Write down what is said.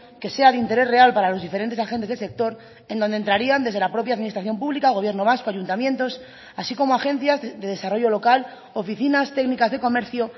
que sea de interés real para los diferentes agentes del sector en donde entrarían desde la propia administración pública el gobierno vasco ayuntamientos así como agencias de desarrollo local oficinas técnicas de comercio